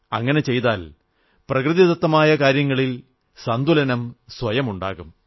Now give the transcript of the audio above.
അങ്ങനെ ചെയ്താൽ പ്രകൃതിദത്തമായ കാര്യങ്ങളിൽ സന്തുലനം സ്വയം ഉണ്ടാകും